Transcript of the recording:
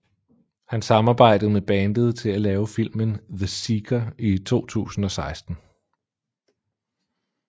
Han samarbejdede med bandet til at lave filmen The Seeker i 2016